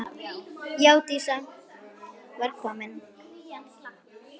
Já, Dísa var komin.